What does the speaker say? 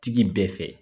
Tigi bɛɛ fɛ